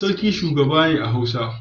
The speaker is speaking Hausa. Sarki shugaba ne a hausa.